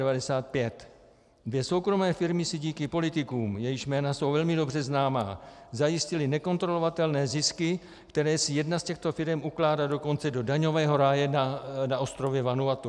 Dvě soukromé firmy si díky politikům, jejichž jména jsou velmi dobře známa, zajistily nekontrolovatelné zisky, které si jedna z těchto firem ukládá dokonce do daňového ráje na ostrově Vanuatu.